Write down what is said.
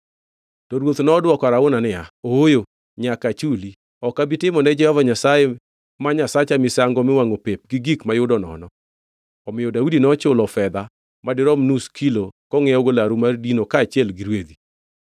To ruoth nodwoko Arauna niya, “Ooyo, nyaka achuli. Ok abi timo ne Jehova Nyasaye ma Nyasacha misango miwangʼo pep gi gik mayudo nono.” Omiyo Daudi nochulo fedha madirom nus kilo kongʼiewogo laru mar dino kaachiel gi rwedhi.